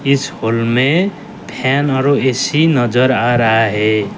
इस हाल में फैन और ए_सी भी नजर आ रहा है।